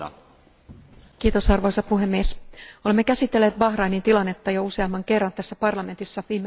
Arvoisa puhemies, olemme käsitelleet Bahrainin tilannetta jo useamman kerran tässä parlamentissa viime kuukausien aikana.